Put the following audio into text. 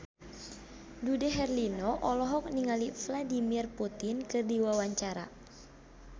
Dude Herlino olohok ningali Vladimir Putin keur diwawancara